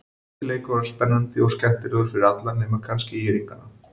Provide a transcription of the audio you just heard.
Þessi leikur var spennandi og skemmtilegur fyrir alla nema kannski ÍR-ingana.